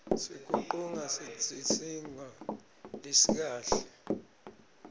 sikiqung singsisinbvo lesikahle